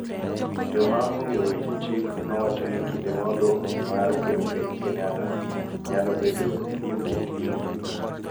Joma ong�eyo weche chike nowacho ni kinde ma odong� mar Ker piny Kenyatta nyalo bedo e limbo, e yor chik.